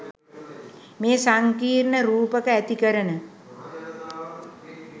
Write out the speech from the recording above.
මේ සංකීර්ණ රූපක ඇතිකරන